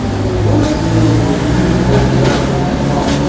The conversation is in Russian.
можешь в личку зайти а то у меня спам